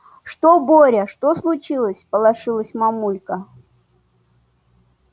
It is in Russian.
что боря что случилось всполошилась мамулька